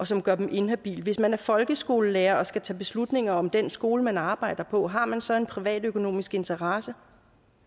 som gør dem inhabile hvis man er folkeskolelærer og skal tage beslutninger om den skole man arbejder på har man så en privatøkonomisk interesse